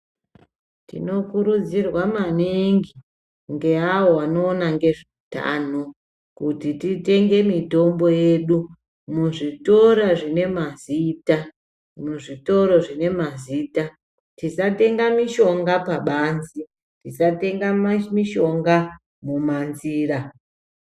Tinokurudzirwa maningi ngeawo anoona nezveutano ,kuti titenge mitombo yedu muzvitoro zvinemazita ,tisatenga mishonga pabanze ,tisatenga mishonga munzira .